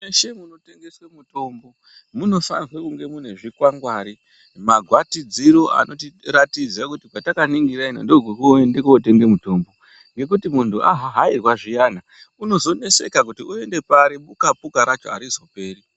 Mweshe munotengese mutombo munofanirwe kunge mune zvikwangwari magwatirziro anotiratidziro kuti kwatakaningira ino ndokwekuende kundotenge mutombo ngekuti muntu ahahairwa zviyan unozoneseka kuti oende pari buka puka racho arizoperi.